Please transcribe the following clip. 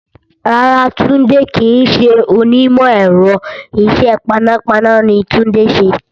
Rárá, Tunde kì í ṣe onímọ̀ ẹ̀rọ. Isẹ paná paná ni Tunde ń ṣe